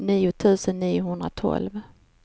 nitton tusen niohundratolv